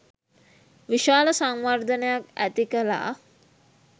විශාල සංවර්ධනයක් ඇතිකළා.